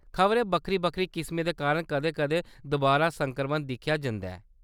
खबरै बक्खरी बक्खरी किस्में दे कारण कदें कदें दुबारा संक्रमन दिक्खेआ जंदा ऐ।